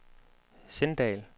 Sindal